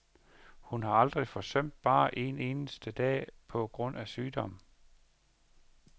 Hun har aldrig forsømt bare én eneste dag på grund af sygdom.